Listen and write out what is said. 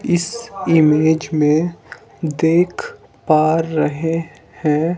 इस इमेज में देख पा रहे हैं--